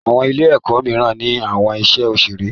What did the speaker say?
Àwọn Ilé-èkó míràn ní àwọn iṣé òṣeré.